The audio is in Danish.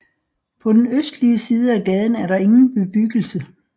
På den østlige side af gaden er der ingen bebyggelse